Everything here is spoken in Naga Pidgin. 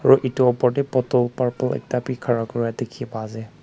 aro edu opor tae bottle purple bi ekta khara Kura Kura dikhipaiase.